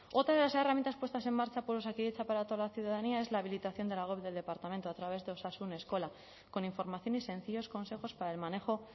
otra de las herramientas puestas en marcha por osakidetza para toda la ciudadanía es la habilitación de la web del departamento a través de osasun eskola con información y sencillos consejos para el manejo